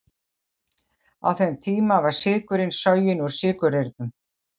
Á þeim tíma var sykurinn soginn úr sykurreyrnum.